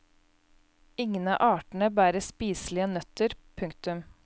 Ingen av artene bærer spiselige nøtter. punktum